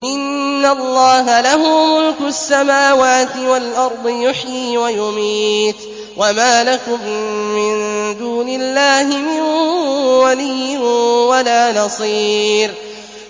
إِنَّ اللَّهَ لَهُ مُلْكُ السَّمَاوَاتِ وَالْأَرْضِ ۖ يُحْيِي وَيُمِيتُ ۚ وَمَا لَكُم مِّن دُونِ اللَّهِ مِن وَلِيٍّ وَلَا نَصِيرٍ